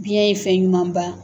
Biyɛn ye fɛn ɲumanba